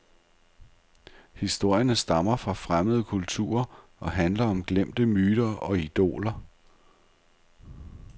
Historierne stammer fra fremmede kulturer og handler om glemte myter og idoler.